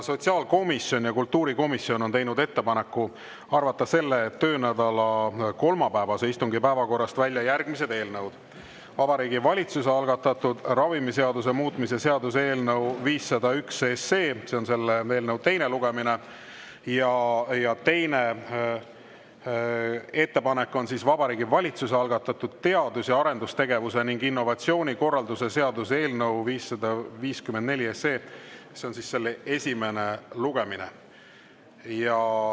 Sotsiaalkomisjon ja kultuurikomisjon on teinud ettepaneku arvata selle töönädala kolmapäevase istungi päevakorrast välja järgmised: Vabariigi Valitsuse algatatud ravimiseaduse muutmise seaduse eelnõu 501 teine lugemine ja Vabariigi Valitsuse algatatud teadus‑ ja arendustegevuse ning innovatsiooni korralduse seaduse eelnõu 554 esimene lugemine.